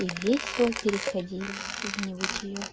и весело переходили в небытиё